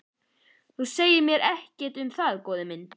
Þú segir mér ekkert um það góði minn.